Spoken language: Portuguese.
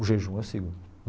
O jejum eu sigo.